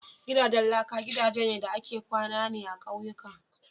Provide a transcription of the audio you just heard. Gidajen laka gidajen da ake kwana ne a ƙauyuka.